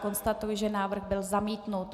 Konstatuji, že návrh byl zamítnut.